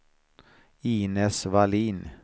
Inez Wallin